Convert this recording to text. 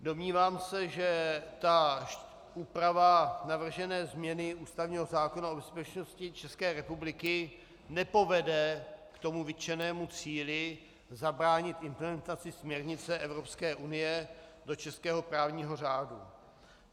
Domnívám se, že ta úprava navržené změny ústavního zákona o bezpečnosti České republiky nepovede k tomu vytčenému cíli zabránit implementaci směrnice Evropské unie do českého právního řádu.